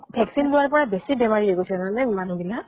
vaccine লোৱাৰ পৰা বেছি বেমাৰি হৈ গৈছে জানা নে মানুহ বিলাক।